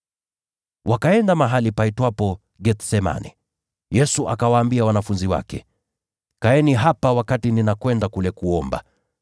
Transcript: Wakaenda mahali paitwapo Gethsemane. Yesu akawaambia wanafunzi wake, “Kaeni hapa, nami niende nikaombe.”